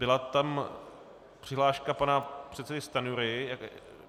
Byla tam přihláška pana předsedy Stanjury.